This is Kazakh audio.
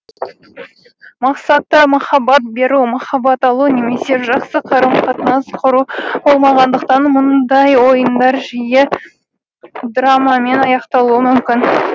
мақсаты махаббат беру махаббат алу немесе жақсы қарым қатынас құру болмағандықтан мұндай ойындар жиі драмамен аяқталуы мүмкін